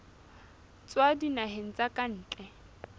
tswa dinaheng tsa ka ntle